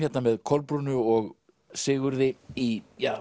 með Kolbrúnu og Sigurði í